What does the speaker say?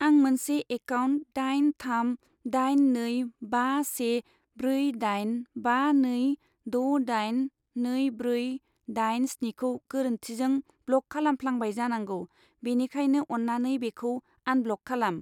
आं मोनसे एकाउन्ट दाइन थाम दाइन नै बा से ब्रै दाइन बा नै द' दाइन नै ब्रै दाइन स्निखौ गोरोन्थिजों ब्लक खालामफ्लांबाय जानांगौ, बेनिखायनो अन्नानै बेखौ आनब्लक खालाम।